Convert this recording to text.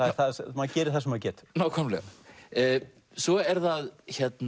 maður gerir það sem maður getur svo er það